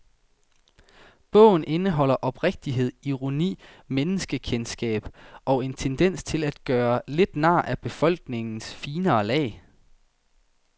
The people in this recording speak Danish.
Bogen indeholder oprigtighed, ironi, menneskekendskab og en tendens til at gøre lidt nar af befolkningens finere lag.